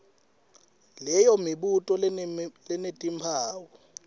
leyo mibuto lenetimphawu